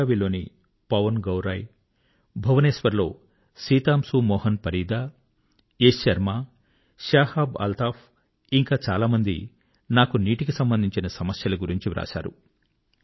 బెళగావిBelagavi లో పవన్ గౌరాయి భువనేశ్వర్ లో సితాంశూ మోహన్ పరీదా ఇంకా యశ్ శర్మా శాహాబ్ అల్తాఫ్ ఇంకా చాలా మంది నాకు నీటికి సంబంధించిన సమస్యల గురించి వ్రాశారు